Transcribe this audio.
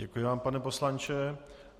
Děkuji vám pane poslanče.